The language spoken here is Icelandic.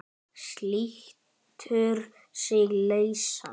Slítur sig lausan.